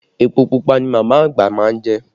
Epo pupa ni màmá àgbà má ń jẹ